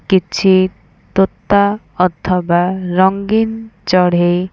କିଛି ତୋତା ଅଥବା ରଙ୍ଗିନ ଚଢ଼େଇ।